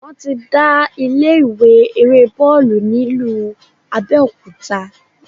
Wọ́n ti dá ilé ìwé eré bọ́ọ̀lù ni ìlú Abẹ́òkúta.